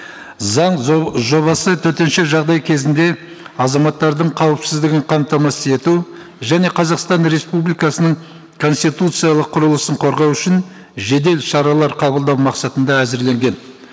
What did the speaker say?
заң жобасы төтенше жағдай кезінде азаматтардың қауіпсіздігін қамтамасыз ету және қазақстан республикасының конституциялық құрылысын қорғау үшін жедел шаралар қабылдау мақсатында әзірленген